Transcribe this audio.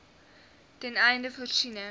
ten einde voorsiening